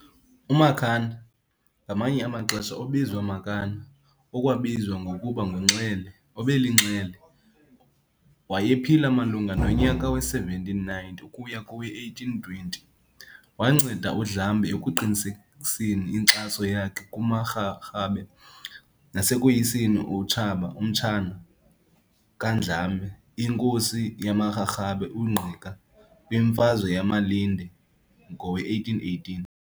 UMakhanda, ngamanye amaxesha obizwa Makana, okwabizwa ngokuba nguNxele, obelinxele, wayephila malunga nonyaka we-1790 ukuya kowe-1820. Wanceda uNdlambe ekuqinisekiseni inkxaso yakhe kumaRharhabe nasekoyiseni umtshana kaNdlambe, inkosi yamaRharhabe uNgqika kwimfazwe yamaLinde ngowe-1818.